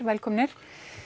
velkomnir